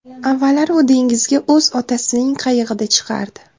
Avvallari u dengizga o‘z otasining qayig‘ida chiqardi.